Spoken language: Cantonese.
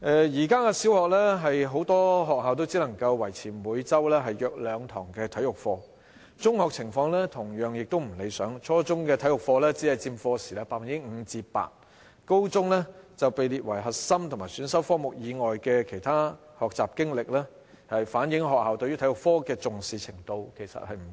現時很多小學只能夠維持每周約兩堂體育課，中學情況亦同樣不理想，初中體育課時只佔 5% 至 8%， 高中則被列為核心和選修科目以外的其他學習經歷，反映學校對體育科的重視程度其實不高。